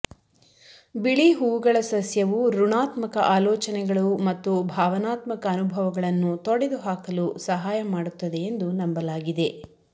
ಬಿಳಿ ಹೂವುಗಳ ಸಸ್ಯವು ಋಣಾತ್ಮಕ ಆಲೋಚನೆಗಳು ಮತ್ತು ಭಾವನಾತ್ಮಕ ಅನುಭವಗಳನ್ನು ತೊಡೆದುಹಾಕಲು ಸಹಾಯ ಮಾಡುತ್ತದೆ ಎಂದು ನಂಬಲಾಗಿದೆ